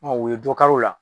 o ye dɔ kari o la.